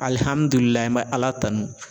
an bɛ Ala tanu